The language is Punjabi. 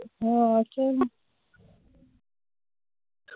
ਹਮ ਅੱਛਾ ਜੀ ।